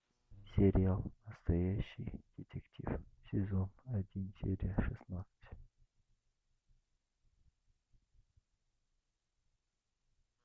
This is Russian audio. сериал настоящий детектив сезон один серия шестнадцать